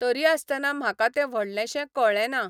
तरी आसतना म्हाका तें व्हडलेंशें कळ्ळें ना.